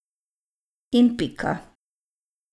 In pika.